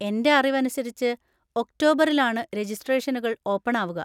എൻ്റെ അറിവനുസരിച്ച് ഒക്ടോബറിലാണ് രെജിസ്ട്രേഷനുകൾ ഓപ്പൺ ആവുക.